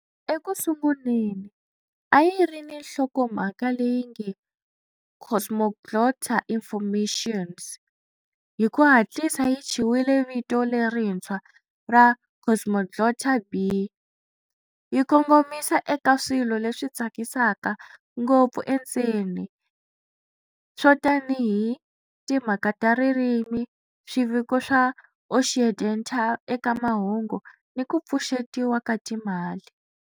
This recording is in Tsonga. Eku sunguleni a yi ri ni nhlokomhaka leyi nge Cosmoglotta-Informationes, hi ku hatlisa yi thyiwile vito lerintshwa ra Cosmoglotta B, yi kongomisa eka swilo leswi tsakisaka ngopfu endzeni swo tanihi timhaka ta ririmi, swiviko swa Occidental eka mahungu ni ku pfuxetiwa ka timali.